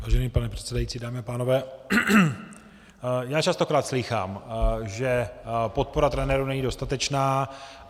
Vážený pane předsedající, dámy a pánové, já častokrát slýchám, že podpora trenérů není dostatečná.